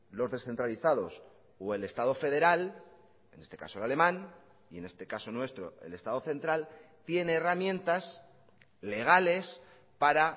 los descentralizados o el estado federal en este caso el alemán y en este caso nuestro el estado central tiene herramientas legales para